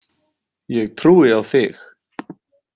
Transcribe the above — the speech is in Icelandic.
Ég trúi á þig!